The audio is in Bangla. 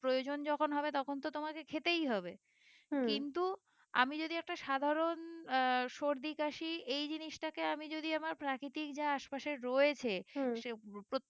প্রয়োজন যখন হবে তখন তো তোমাকে খেতেই হবে কিন্তু আমি যদি একটা সাধারণ আহ সর্দি কাশি এই জিনিসটাকে আমি যদি আমার প্রাকৃতিক যা আশপাশে রয়েছে সে প্রত্যেক